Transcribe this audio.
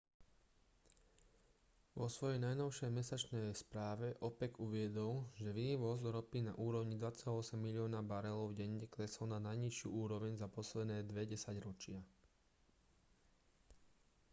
vo svojej najnovšej mesačnej správe opec uviedol že vývoz ropy na úrovni 2,8 milióna barelov denne klesol na najnižšiu úroveň za posledné dve desaťročia